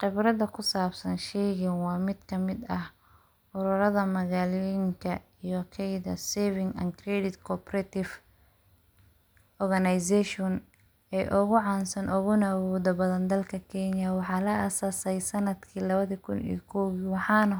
Khibrada qusabsan sheygan waa mid kamid ah ururada magaaloyinka iyo hayada saving and credit cooperative company organization ee ugu caansan ona mudada badan dalka Kenya, waxana la as'aasay sanadkii labada Kun iyo kowdii, waxana